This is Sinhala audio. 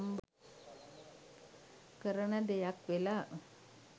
කරන දෙයක් වෙලා.